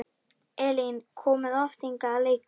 Elín: Komið þið oft hingað að leika?